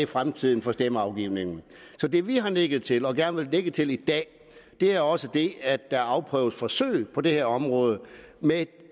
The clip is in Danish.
fremtiden for stemmeafgivningen så det vi har nikket til og gerne vil nikke til i dag er også det at der afprøves forsøg på det her område med